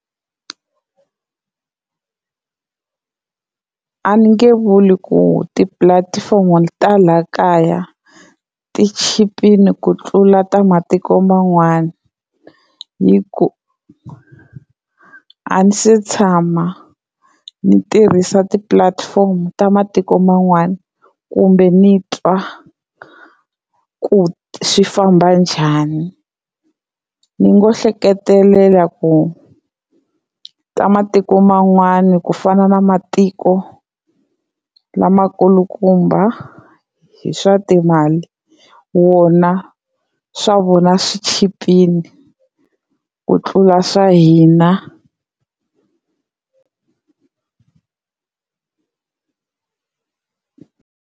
A ni nge vuli ku tipulatifomo ta la kaya ti chipini ku tlula ta matiko man'wana hi ku a ni se tshama ni tirhisa ti-platform ta matiko man'wana kumbe ni twa ku swi famba njhani, ni ngo hleketelela ku ka matiko man'wana ku fana na matiko lamakulukumba hi swa timali wona swa vona swi chipini ku tlula swa hina.